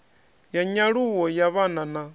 ya nyaluwo ya vhana na